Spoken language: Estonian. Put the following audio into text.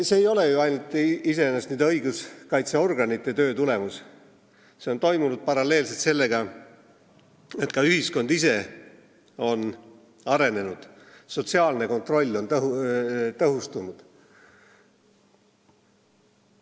See ei ole iseenesest ainult õiguskaitseorganite töö tulemus, see on toimunud paralleelselt sellega, et ühiskond ise on arenenud ja sotsiaalne kontroll on tõhustunud.